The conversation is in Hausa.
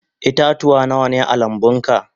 Ita-tuwa Nawa ne a lambu?